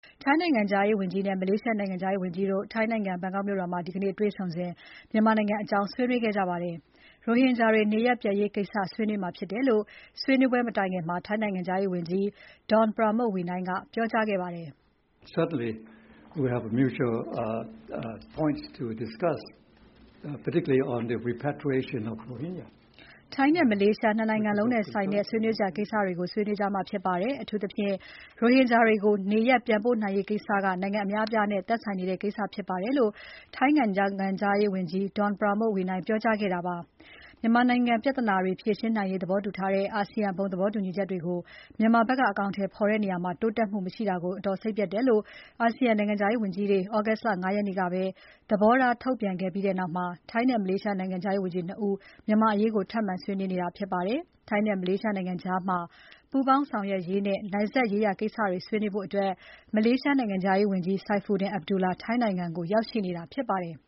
ထိုင်းနိုင်ငံခြားရေးဝန်ကြီးနဲ့ မလေးရှားနိုင်ငံခြားရေးဝန်ကြီးတို့ ထိုင်းနိုင်ငံ ဘန်ကောက်မြို့တော်မှာ ဒီနေ့ တေ့ွဆုံစဉ် မြန်မာနိုင်ငံအကြောင်း ဆွေးနွေးခဲ့ကြပါတယ်။ ရိုဟင်ဂျာတွေ နေရပ်ပြန်ရေးကိစ္စဆွေးနွေးမှာဖြစ်တယ်လို့ မဆွေးနွေးခင် ထိုင်းနိုင်ငံခြားရေးဝန်ကြီး Don Pramudwinnai က ပြောကြားခဲ့ပါတယ်။ “ထိုင်းနဲ့ မလေးရှား ၂ နိုင်ငံလုံးနဲ့ဆိုင်တဲ့ ဆွေးနွေးစရာကိစ္စတွေဆွေးနွေးမှာဖြစ်ပါတယ်။ အထူးသဖြင့် ရိုဟင် ဂျာတွေကို နေရပ်ပြန်ပို့နိုင်ရေးကိစ္စက နိုင်ငံအများအပြားနဲ့ သက်ဆိုင်နေတဲ့ ကိစ္စဖြစ်ပါတယ်။” လို့ ထိုင်းနိုင်ငံခြားရေးဝန်ကြီး Don Pramudwinnai ကပြောကြားခဲ့တာဖြစ်ပါတယ်။ မြန်မာနိုင်ငံပြဿနာတွေ ဖြေရှင်းနိုင်ရေးသဘောတူထားတဲ့ အာဆီယံ ဘုံသဘောတူညီချက်တွေကို မြန်မာဘက်က အကောင်အထည်ဖော်တဲ့နေရာမှာ တိုးတက်မှုမရှိတဲ့အပေါ် အတော်စိတ်ပျက်တယ်လု့ိ ASEAN နိုင်ငံခြားရေးဝန်ကြီးတွေ August လ ၅ ရက်ကပဲ သဘောထားထုတ်ပြန်ထားပြီးနောက် ထိုင်းနဲ့မလေးရှား နိုင်ငံခြားရေးဝန်ကြီး ၂ ဦး မြန်မာ့အရေးကို ထပ်မံဆွေးနွေးတာဖြစ်ပါတယ်။ ထိုင်းနဲ့မလေးရှားကြား ပူးပေါင်းဆောင်ရွက်ရေးနဲ့ နယ်စပ်ရေးရာ ကိစ္စတွေဆွေးနွေးဖို့ မလေးရှားနိုင်ငံခြားရေးဝန်ကြီး Saifuddin Abdullah ထိုင်းနိုင်ငံကို လာရောက်တာဖြစ်ပါတယ်။